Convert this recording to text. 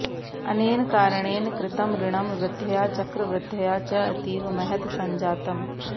अनेन कारणेन कृतं ऋणं वृद्ध्या चक्रवृद्ध्या च अतीव महत् सञ्जातम्